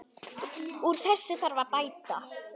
Úr þessu þarf að bæta!